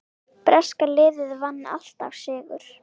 Breska liðið vann alltaf sigur.